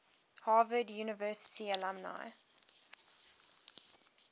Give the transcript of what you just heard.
harvard university alumni